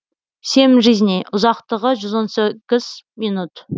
семь жизней ұзақтығы жүз он сегіз минут